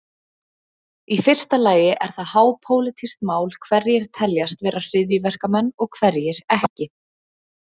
Í fyrsta lagi er það hápólitískt mál hverjir teljast vera hryðjuverkamenn og hverjir ekki.